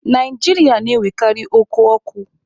Naijiria na-enwekarị oku ọkụ.